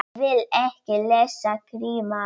Ég vil ekki lesa krimma.